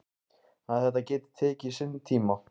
Að þetta geti tekið sinn tíma.